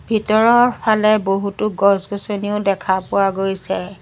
ভিতৰৰ ফালে বহুতো গছ-গছনিও দেখা পোৱা গৈছে।